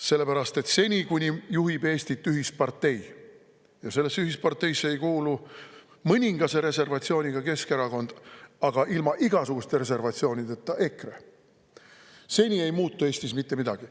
Sellepärast et seni, kuni Eestit juhib ühispartei – ja sellesse ühisparteisse ei kuulu mõningase reservatsiooniga Keskerakond, aga ilma igasuguste reservatsioonideta EKRE –, seni ei muutu Eestis mitte midagi.